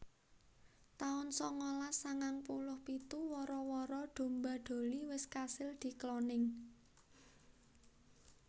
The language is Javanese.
taun sangalas sangang puluh pitu Wara wara domba Dolly wis kasil dikloning